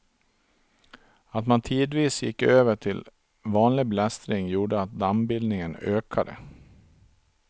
Att man tidvis gick över till vanlig blästring gjorde att dammbildningen ökade.